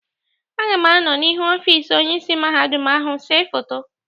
Aga m anọọ n'ihu ọfịs Onyeisi Mahadum ahụ séé foto.